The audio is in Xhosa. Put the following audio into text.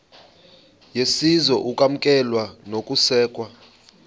yesizwe ukwamkelwa nokusekwa